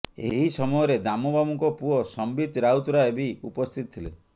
ଏହି ସମୟରେ ଦାମବାବୁଙ୍କ ପୁଅ ସମ୍ବିତ ରାଉତରାୟ ବି ଉପସ୍ଥିତ ଥିଲେ